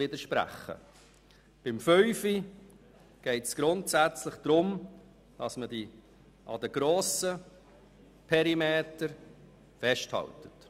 Bei Planungserklärung 5 geht es grundsätzlich darum, dass man an den grossen Perimetern festhält.